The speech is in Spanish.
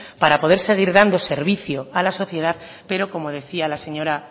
para poder seguir dando servicio a la sociedad pero como decía la señora